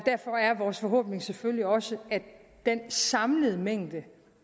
vores forhåbning selvfølgelig også at den samlede mængde